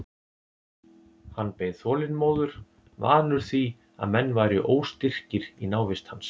Hann beið þolinmóður, vanur því að menn væru óstyrkir í návist hans.